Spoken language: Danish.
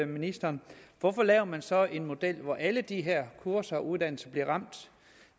ministeren hvorfor laver man så en model hvor alle de her kurser og uddannelser bliver ramt